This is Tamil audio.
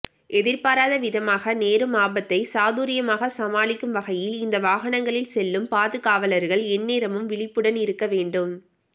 எதிர்பாராத விதமாக நேரும் ஆபத்தை சாதுர்யமாக சமாளிக்கும் வகையில் இந்த வாகனங்களில் செல்லும் பாதுகாவலர்கள் எந்நேரமும் விழிப்புடன் இருக்க வேண்டும்